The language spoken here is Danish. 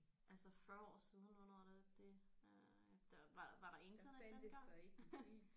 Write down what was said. Altså 40 år siden hvornår er det det øh der var der var der internet dengang?